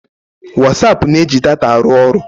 Whatsaap na-eji data arụ ọrụ.